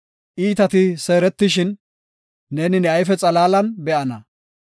Iitati seeretishin, neeni ne ayfe xalaalan be7ana.